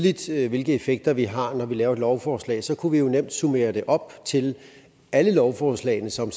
det er tydeligt hvilke effekter det har når vi laver et lovforslag så kunne vi jo nemt summere det op til alle lovforslagene som